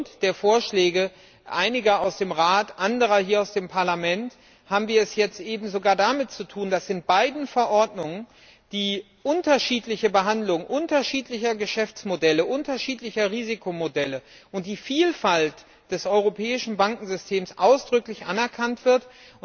Aufgrund der Vorschläge einiger aus dem Rat und anderer hier aus dem Parlament haben wir es jetzt eben sogar damit zu tun, dass in beiden Verordnungen die unterschiedliche Behandlung unterschiedlicher Geschäftsmodelle, unterschiedlicher Risikomodelle und die Vielfalt des europäischen Bankensystems ausdrücklich anerkannt werden.